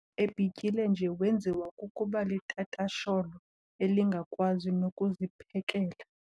Ebhityile nje wenziwa kukuba litatasholo elingakwazi nokuziphekela.